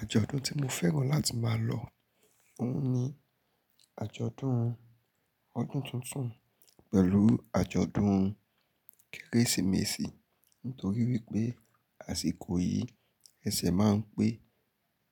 Àjọ̀dún tí mo fẹ́ràn láti máa lọ ohun ni àjọ̀dún ọdún tuntun pẹ̀lú àjọ̀dún Kérésìmesì. Nítorí wípé àsìkò yìí, ẹsẹ̀ máa ń pé